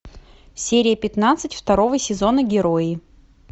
серия пятнадцать второго сезона герои